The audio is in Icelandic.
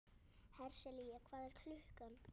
Hersilía, hvað er klukkan?